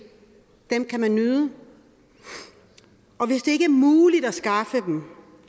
dem kan man nyde og hvis det ikke er muligt at skaffe dem